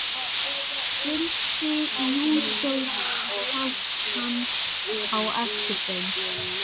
drundi júdóstúlkan á eftir þeim.